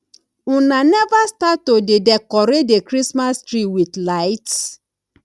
una never start to dey decorate the christmas tree with lights